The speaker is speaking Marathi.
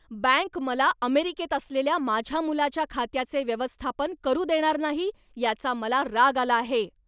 बँक मला अमेरिकेत असलेल्या माझ्या मुलाच्या खात्याचे व्यवस्थापन करू देणार नाही, याचा मला राग आला आहे.